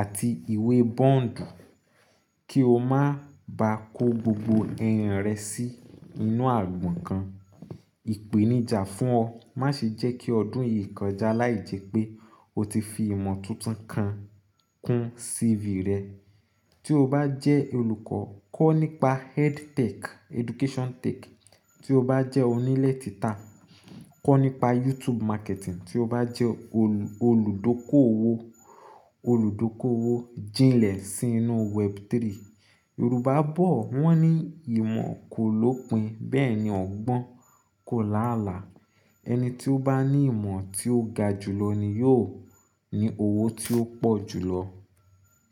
àti ìwé bond kí o má ba kó gbogbo ẹyin rẹ sí inú agbọn kan. Ìpèníjà fún ọ, má ṣe jẹ́ kí ọdún yìí kọjá láì jẹ́ pé o ti fi ìmọ̀ tuntun kan kún CV rẹ. Tí o bá jẹ́ olùkọ́, kọ́ nípa EdTech, Education Tech. Tí o bá jẹ́ onílétítà, kọ́ nípa YouTube marketing. Tí o bá jẹ́ olùdókòwò, olùdókòwò, jìnlẹ̀ sínú Web3. Yorùbá bọ̀ wọ́n ní "ìmọ̀ kò lópin, bẹ́ẹ̀ ni ọgbọ́n kò láàlá." Ẹni tí ó bá ní ìmọ̀ tí ó ga jùlọ ni yóò ní owó tí ó pọ̀ jùlọ.